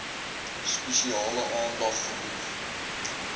spesiale aandag genoeg